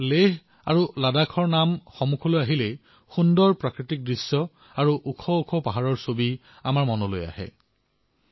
লেহ আৰু লাডাখৰ নাম মনলৈ অহাৰ লগে লগে সুন্দৰ দৃশ্য ওখ ওখ পাহাৰৰ দৃশ্য আমাৰ চকুত ভাঁহি উঠে